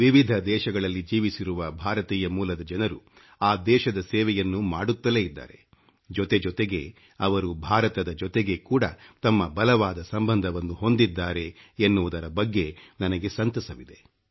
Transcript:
ವಿಭಿನ್ನ ದೇಶಗಳಲ್ಲಿ ಜೀವಿಸಿರುವ ಭಾರತೀಯ ಮೂಲದ ಜನರು ಆ ದೇಶದ ಸೇವೆಯನ್ನು ಮಾಡುತ್ತಲೇ ಇದ್ದಾರೆ ಜೊತೆ ಜೊತೆಗೆ ಅವರು ಭಾರತದ ಜೊತೆಗೆ ಕೂಡ ತಮ್ಮ ಬಲವಾದ ಸಂಬಂಧವನ್ನು ಹೊಂದಿದ್ದಾರೆ ಎನ್ನುವುದರ ಬಗ್ಗೆ ನನಗೆ ಸಂತಸವಿದೆ